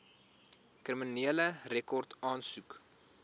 kriminele rekord aansoek